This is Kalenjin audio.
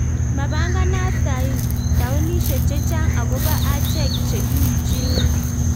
Mapanganat taonishek chechang akobo achek chekiuchini